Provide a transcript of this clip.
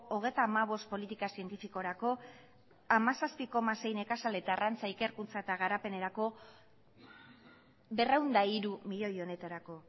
hogeita hamabost politika zientifikorako hamazazpi koma sei nekazal eta arrantza ikerkuntza eta garapenerako berrehun eta hiru milioi honetarako